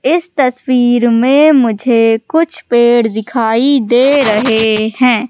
इस तस्वीर में मुझे कुछ पेड़ दिखाई दे रहे हैं।